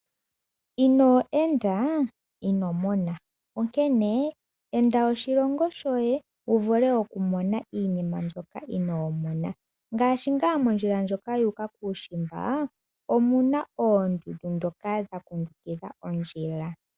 Inoo enda inomona onkene enda oshilongo shoye wuvule okumona iinima mbyoka inomona ngaashi nga mondjila ndjoka yuuka kuushimba omuna oondundu dhoka dhakundukila ondjila.